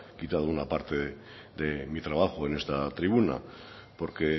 quitado una parte de mi trabajo en esta tribuna porque